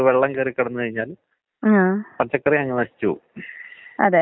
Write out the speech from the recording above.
ങാ. ഇപ്പോ ഉള്ള ക്ലൈമറ്റ് ആണങ്കി വളരെ തണുത്ത ക്ലൈമറ്റ് അല്ലേ?